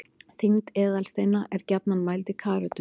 þyngd eðalsteina er gjarnan mæld í karötum